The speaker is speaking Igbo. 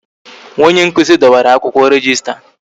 Nwa onye nkụzi dọwara akwụkwọ rejista